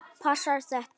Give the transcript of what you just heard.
Passar þetta?